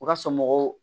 U ka somɔgɔw